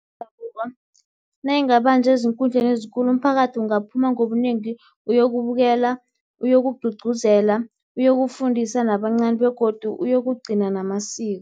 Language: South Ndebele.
yendabuko nayingabanjwa ezinkundleni ezikulu, umphakathi ungaphuma ngobunengi ukuyokubukela, uyokugcugcuzela, ukuyokufundisa nabancani begodu uyokugcina namasiko.